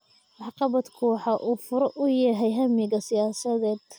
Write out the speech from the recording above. Waxqabadku waxa uu fure u yahay hammiga siyaasadeed